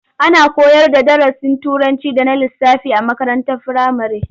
Ana koyarda darasin Turanci da na lissafi a makarantar firamare.